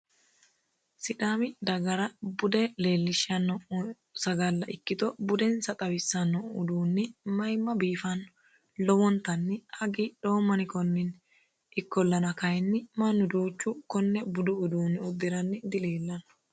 sidaami dagara bude leellishshanno budu sagalla ikkito budensa xawissanno uduunni mayimma biifanno lowontanni hagiidhoomm ani konninni ikkollana kayinni mannu duuchu konne budu uduunni uddiranni dileellanno.